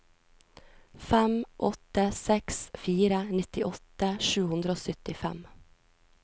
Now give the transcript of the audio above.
fem åtte seks fire nittiåtte sju hundre og syttifem